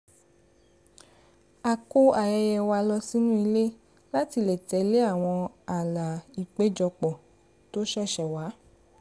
a kó ayẹyẹ wa lọ sí inú ilé láti lè tẹ̀lé àwọn ààlà ìpéjọpọ̀ tó ṣẹ̀ṣẹ̀ wà